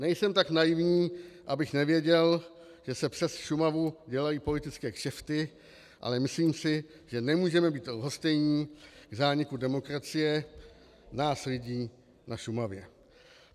Nejsem tak naivní, abych nevěděl, že se přes Šumavu dělají politické kšefty, ale myslím si, že nemůžeme být lhostejní k zániku demokracie nás lidí na Šumavě.